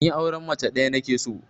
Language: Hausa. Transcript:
Ni auren mace ɗaya nake so